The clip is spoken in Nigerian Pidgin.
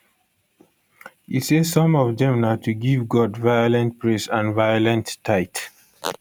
e say some of dem na to give god violent praise and violent tithe